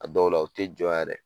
A dɔw la u te jɔ yɛrɛ.